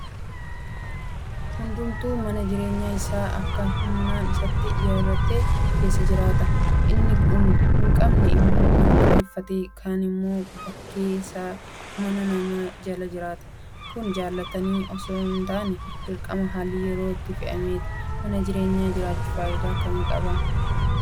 Hundumtuu mana jireenya isaa akka humna isaatti ijaarratee keessa jiraata. Inni hinqabne immoo kaan kireeffatee; kaanimmoo bakkee keessa mana namaa jala jiraata. Kun jaalatanii itoo hintaane dirqama haalli yeroo namatti fe'een uumama. Mana jireenyaa ijaarrachuun faayidaa akkamii qaba?